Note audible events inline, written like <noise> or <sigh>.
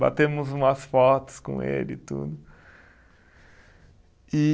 Batemos umas fotos com ele e tudo. <sighs> E